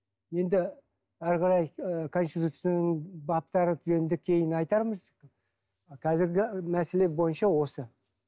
енді әрі қарай ы конституцияның баптары жөнінде кейін айтармыз қазіргі мәселе бойынша осы